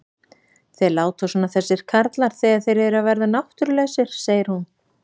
Þeir láta svona þessir karlar þegar þeir eru að verða náttúrulausir, segir hún.